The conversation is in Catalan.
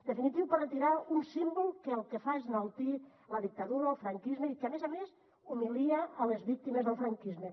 definitiu per retirar un símbol que el que fa és enaltir la dictadura el franquisme i que a més a més humilia les víctimes del franquisme